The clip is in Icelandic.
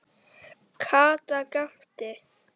Kata gapti.